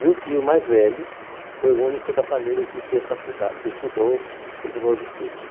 E o tio mais velho foi o único da família que fez faculdade que estudou, continuou os estudos.